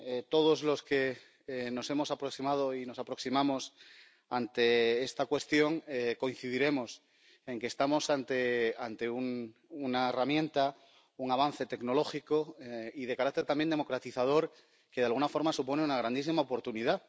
todos los que nos hemos aproximado y nos aproximamos a esta cuestión coincidiremos en que estamos ante una herramienta, un avance tecnológico y de carácter también democratizador que, de alguna forma, supone una grandísima oportunidad.